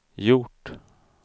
gjort